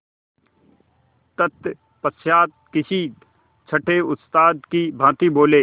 तत्पश्चात किसी छंटे उस्ताद की भांति बोले